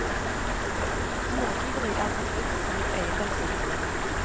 Småtyveri er en forbrytelse mot eiendomsretten.